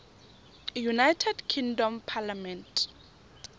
united kingdom parliament